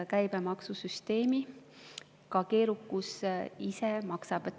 Käibemaksusüsteemi keerukus ise maksab.